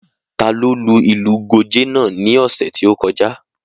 Ta ló lu ìlù Gòjé náà ní ọ̀sẹ̀ tí ó kọjá?